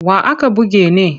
Wa aka buge ne?